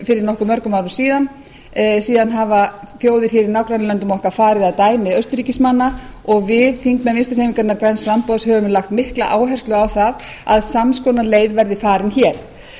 fyrir nokkuð mörgum árum síðan síðan hafa þjóðir í nágrannalöndum okkar farið að dæmi austurríkismanna og við þingmenn vinstri hreyfingarinnar græns framboðs höfum lagt mikla áherslu á það að sams konar leið verði farin hér